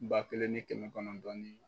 Ba kelen ni kɛmɛ kɔnɔn ni